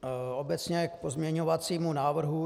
Obecně k pozměňovacímu návrhu.